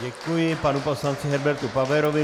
Děkuji panu poslanci Herbertu Paverovi.